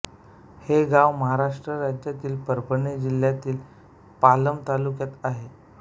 हे गाव महाराष्ट्र राज्यातील परभणी जिल्ह्यातील पालम तालुक्यात आहे